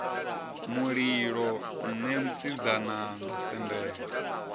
mulilo nṋe musidzana nda sendela